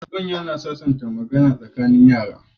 Manya na yawan sasanta magana tsakanin yara